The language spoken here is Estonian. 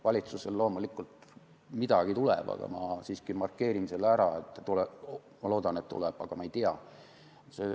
Valitsuselt loomulikult midagi tuleb, aga ma siiski markeerin selle ära, sest ma loodan, et tuleb, aga ma ei tea.